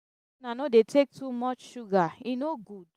make una no dey take too much sugar e no good.